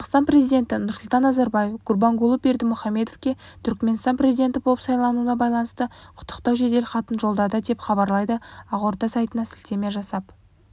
қазақстан президенті нұрсұлтан назарбаев гурбангулы бердімұхамедовке түрікменстан президенті болып сайлануына байланысты құттықтау жеделхатын жолдады деп хабарлайды ақорда сайтына сілтеме жасап